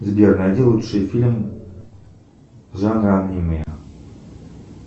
сбер найди лучший фильм